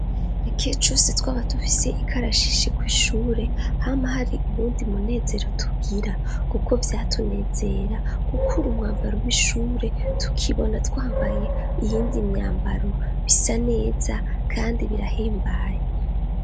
ikihe cose twaba tufise ikarashishi kw' ishure hama hari ubundi munezero tugira kuko vyatunezera gukura umwambaro w'ishure tukibona twambaye iyindi myambaro bisa neza kandi birahimbaye